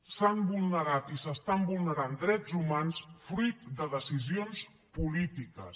s’han vulnerat i s’estan vulnerant drets humans fruit de decisions polítiques